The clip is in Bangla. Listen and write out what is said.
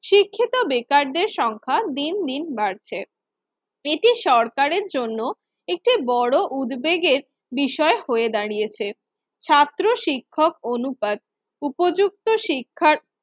শিক্ষিত বেকারদের সংখ্যা দিন দিন বাড়ছে। এটি সরকারের জন্য একটি বড় উদ্বেগের বিষয় হয়ে দাঁড়িয়েছে। ছাত্র-শিক্ষক অনুপাত, উপযুক্ত শিক্ষার